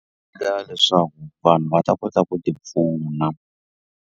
leswaku vanhu va ta kota ku tipfuna.